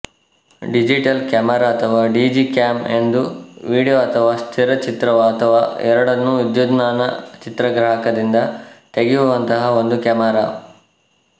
digital camera ಅಥವಾ digicam ಎಂದರೆ video ಅಥವಾ ಸ್ಥಿರಚಿತ್ರಅಥವಾ ಎರಡನ್ನೂ ವಿದ್ಯುನ್ಮಾನ ಚಿತ್ರಗ್ರಾಹಕದಿಂದ ತೆಗೆಯುವಂತಹ ಒಂದು ಕ್ಯಾಮರಾ